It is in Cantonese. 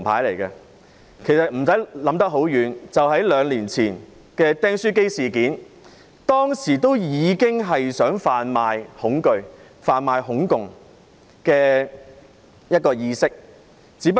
不用說太遠，兩年前民主黨在"釘書機事件"中，已經想販賣恐懼和"恐共"意識。